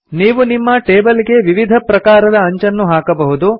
ನೀವು ನಿಮ್ಮ ಟೇಬಲ್ ಗೆ ವಿವಿಧ ಪ್ರಕಾರದ ಅಂಚನ್ನು ಹಾಕಬಹುದು